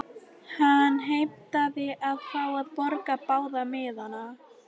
Hann heimtaði að fá að borga báða miðana.